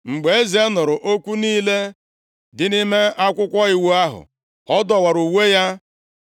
Mgbe eze nụrụ okwu niile dị nʼime Akwụkwọ Iwu ahụ, ọ dọwara uwe ya. + 22:11 Nʼoge ochie, ndị mmadụ na-adọwa uwe nʼihi obi mwute